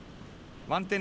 vandinn er